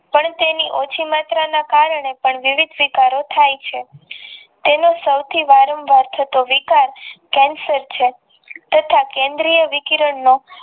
પણ તેની ઓછી માત્રામાં કારણે પણ વિવિધ સીકરો થઈ છે તેને સૌથી વરંવાર થતો વિકાસ કેંસર છે તથા કેન્દ્રીય કિરણનો